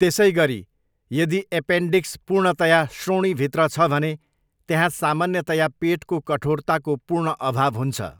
त्यसैगरी, यदि एपेन्डिक्स पूर्णतया श्रोणिभित्र छ भने, त्यहाँ सामान्यतया पेटको कठोरताको पूर्ण अभाव हुन्छ।